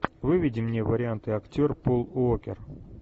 выведи мне варианты актер пол уокер